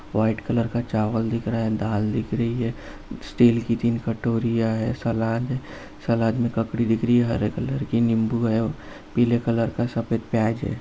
White colour का चावल दिख रहा है दाल दिख रही है स्टील की तीन कटोरियां हैं सलाद है। सलाद में ककड़ी दिख रही है हरे रंग की नीबू है पीले रंग का सफेद प्याज है।